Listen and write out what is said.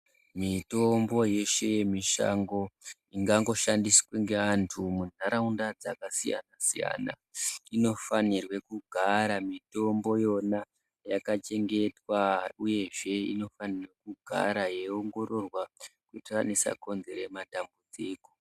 Mitombo yeshe yemishango ingangoshandiswe ngeantu mundaraunda dzakasiyana siyana inofanirwe kugara mitombo yona yakachengetwa uyezve inofanirwe kugara yeiongororwa kuitira isakonzera matambudziko.